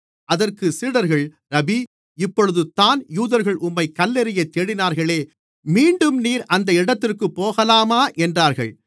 அதற்குச் சீடர்கள் ரபீ இப்பொழுது தான் யூதர்கள் உம்மைக் கல்லெறியத் தேடினார்களே மீண்டும் நீர் அந்த இடத்திற்குப் போகலாமா என்றார்கள்